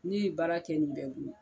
Ne ye baara kɛ nin bɛɛ kun